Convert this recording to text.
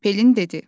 Pelin dedi.